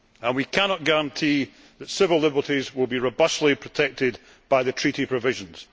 We cannot guarantee that civil liberties will be robustly protected by the ACTA treaty provisions.